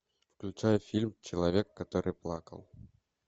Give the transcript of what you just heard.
включай фильм человек который плакал